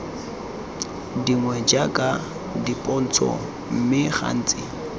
dingwe jaaka dipontsho mme gantsi